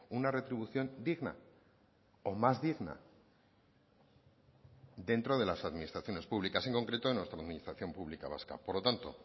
una retribución digna o más digna dentro de las administraciones públicas en concreto de nuestra administración pública vasca por lo tanto